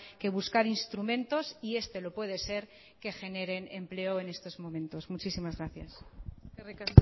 que buscar instrumentos y este lo puede ser que generen empleo en estos momentos muchísimas gracias eskerrik